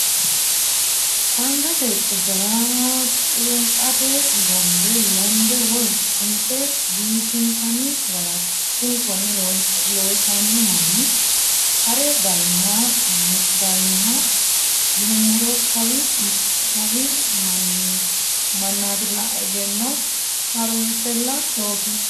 Angate qubbera culunqate gombe lende woyi sunfe biifisinanni garati kuni kone loossano manni hare dayinohoya yinuummoro kawi mannatilla egenno harunsella loosino.